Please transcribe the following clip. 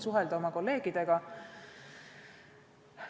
Samuti suhtlen oma kolleegidega.